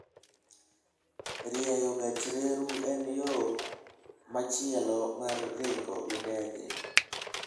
Rieyo gach reru en yo machielo mar ringo gi ndege.